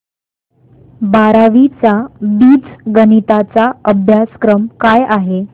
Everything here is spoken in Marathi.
बारावी चा बीजगणिता चा अभ्यासक्रम काय आहे